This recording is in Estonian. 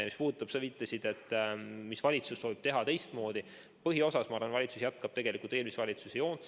Mis puudutab su küsimust, mida valitsus soovib teha teistmoodi, siis ma arvan, et põhiosas valitsus jätkab eelmise valitsuse joont.